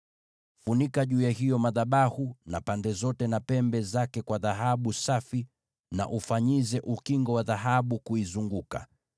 Funika hayo madhabahu juu na pande zote na pia pembe zake kwa dhahabu safi, na uifanyizie ukingo wa dhahabu kuizunguka.